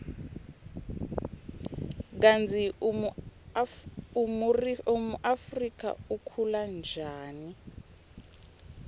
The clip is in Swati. kutsi umurifu ukhula ryani